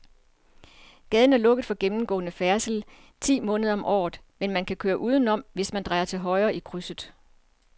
Gaden er lukket for gennemgående færdsel ti måneder om året, men man kan køre udenom, hvis man drejer til højre i krydset.